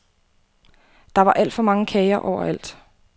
Der var alt for mange kager overalt.